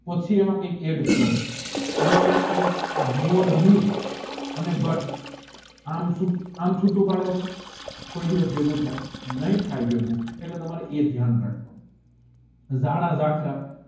પછી એમાં કાઈ અડદ કરો તમે એમ બોર અને ગત આમ ચૂંટુ પદો તોહ કોઈ દિવસ ભેગુ થાય નહીં થાય ભેગુ એટલે તમારે એ અયાન રાખવાનું